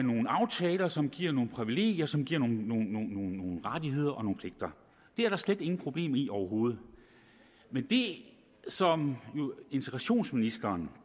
nogle aftaler som giver nogle privilegier og som giver nogle rettigheder og nogle pligter det er der slet ingen problemer i overhovedet men det som integrationsministeren